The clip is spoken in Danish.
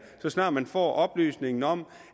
så snart man får oplysningen om